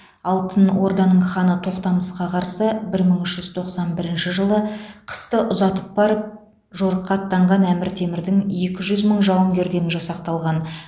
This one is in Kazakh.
алтын орданың ханы тоқтамысқа қарсы бір мың үш жүз тоқсан бірінші жылы қысты ұзатып барып жорыққа аттанған әмір темірдің екі жүз мың жауынгерден жасақталған